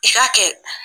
I k'a kɛ